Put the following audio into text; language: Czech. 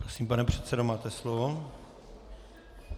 Prosím, pane předsedo, máte slovo.